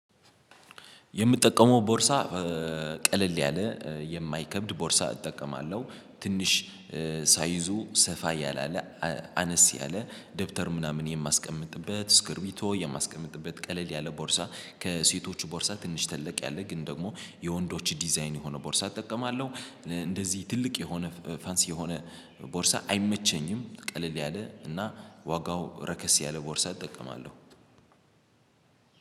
የምጠቀመው ቦርሳ ቀለል ያለ የማይከብድ ቦርሳ እጠቀማለሁ። ትንሽ ሳይዙ ሰፋ ያላለ አነስ ያለ ደብተር ምናምን የማስቀምጥበት እስክርቢቶ የማስቀምጥበት ቀለል ያለ ቦርሳ ከሴቶቹ ቦርሳ ትንሽ ትልቅ ያለ ግን ደግሞ የወንዶች ዲዛይን የሆነ ቦርሳ እጠቀማለሁ። እንደዚህ ትልቅ የሆነ ፋንሲ የሆነ ቦርሳ አይመቸኝም። ቀለል ያለ እና ዋጋው ረከስ ያለ ቦርሳ እጠቀማለሁ።